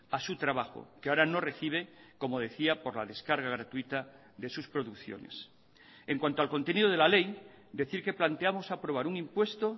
a su trabajo que ahora no recibe como decía por la descarga gratuita de sus producciones en cuanto al contenido de la ley decir que planteamos aprobar un impuesto